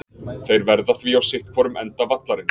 Þeir verða því á sitthvorum enda vallarins.